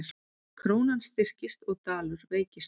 Krónan styrkist og dalur veikist